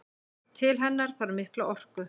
Til hennar þarf mikla orku.